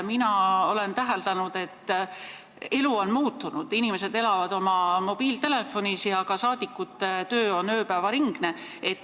Mina olen täheldanud, et elu on muutunud, inimesed elavad mobiiltelefonis ja ka saadikute töö on ööpäevaringne.